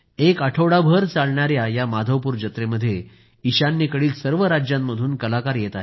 एक आठवडाभर चालणाया या माधवपूर जत्रेमध्ये ईशान्येकडील सर्व राज्यांतून कलाकार येत आहेत